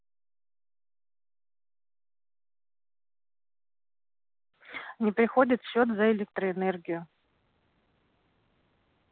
не приходит счёт за электроэнергию